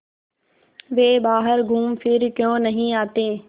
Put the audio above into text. वे बाहर घूमफिर क्यों नहीं आते